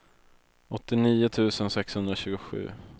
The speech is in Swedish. åttionio tusen sexhundratjugosju